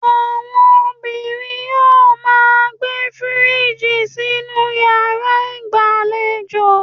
Àwọn obìnrin yóò máa gbé fíríjì sínú yàrá ìgbàlejò.